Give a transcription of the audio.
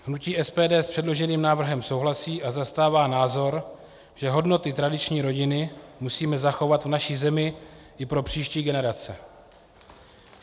Hnutí SPD s předloženým návrhem souhlasí a zastává názor, že hodnoty tradiční rodiny musíme zachovat v naší zemi i pro příští generace.